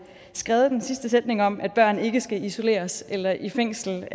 skrevet den sidste sætning om at børn ikke skal isoleres eller i fængsel